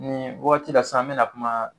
Ni wagati la sisan an be na kuma